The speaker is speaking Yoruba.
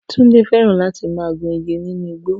Tunde fẹ́ràn láti máa gun igi nínú igbó